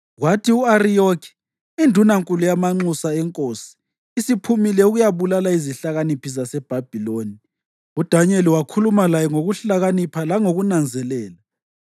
Kwathi u-Ariyoki, indunankulu yamanxusa enkosi isiphumile ukuyabulala izihlakaniphi zaseBhabhiloni, uDanyeli wakhuluma laye ngokuhlakanipha langokunanzelela.